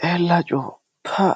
Xeella coo pa!